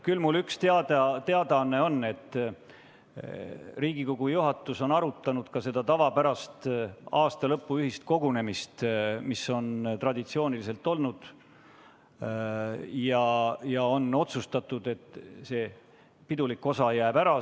Küll aga on mul üks selline teadaanne, et Riigikogu juhatus on arutanud meie tavapärast aasta lõpu ühist kogunemist, mida traditsiooniliselt on korraldatud, ning on otsustatud, et see pidulik osa jääb ära.